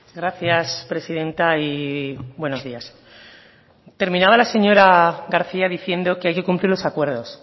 gracias presidenta y buenos días terminaba la señora garcía diciendo que hay que cumplir los acuerdos